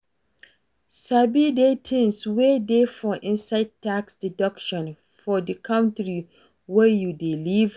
Sabi the things wey dey for inside tax deduction for di country wey you dey live